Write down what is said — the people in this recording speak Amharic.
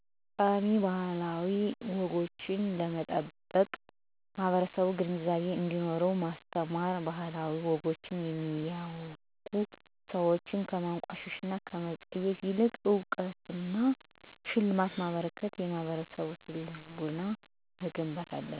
ጠቃሜ ባህላዊ ወጎችን ለመጠበቅ ማህበረሰቡ ግንዛቤ እንዴኖረው ማስተማር። ባህላዊ ወጎችን የሚያወጉ ሰዎችን ከማንቋሸሽ እና ከመፀየፍ ይልቅ እውቅና እና ሽልማት በማበርከት የማህበረሰቡን ስነልቦና መገንባት አለብን።